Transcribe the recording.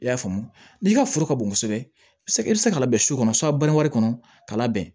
I y'a faamu n'i ka foro ka bon kosɛbɛ i bɛ se ka labɛn su kɔnɔ banangun k'a labɛn